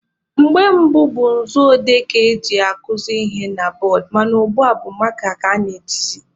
Mgbe gboo bụ nzu odee ka eji akuzi ihe na bọọdụ mana ugbua bụ maaka ka a na-ejizi..